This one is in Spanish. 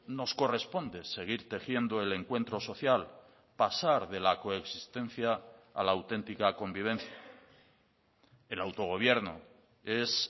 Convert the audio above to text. nos corresponde seguir tejiendo el encuentro social pasar de la coexistencia a la auténtica convivencia el autogobierno es